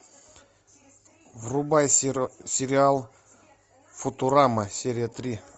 врубай сериал футурама серия три